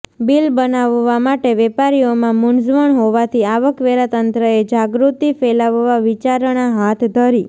bill બનાવવા માટે વેપારીઓમાં મુંઝવણ હોવાથી આવક વેરા તંત્રએ જાગૃતિ ફેલાવવા વિચારણા હાથ ધરી